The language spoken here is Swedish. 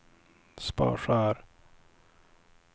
Sparsör